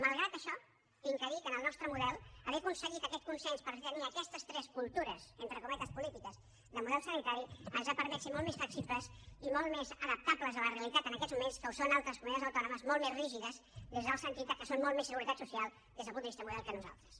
malgrat això he de dir que en el nostre model haver aconseguit aquest consens per tenir aquestes tres cultures entre cometes polítiques de model sanitari ens ha permès ser molt més flexibles i molt més adaptables a la realitat en aquests moments del que són altres comunitats autònomes molt més rígides des del sentit que són molt més seguretat social des del punt de vista de model que nosaltres